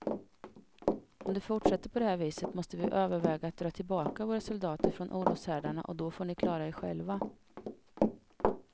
Om det fortsätter på det här viset måste vi överväga att dra tillbaka våra soldater från oroshärdarna och då får ni klara er själva.